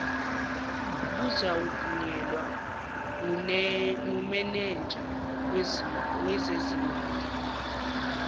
kuzawuvunyelwa ngumenenja wezezimali